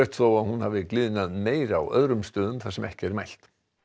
þó að hún hafi gliðnað meira á öðrum stöðum þar sem ekki er mælt